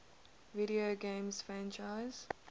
video game franchises